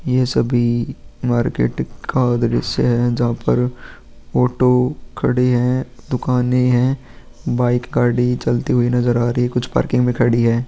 ये सभी मार्केट का दृश्य है जहां पर ऑटो खड़ी है दुकाने है बाइक गाड़ी चलती हुई नजर आ रही है कुछ पार्किंग में खड़ी है।